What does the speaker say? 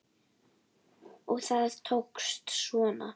Og það tókst svona!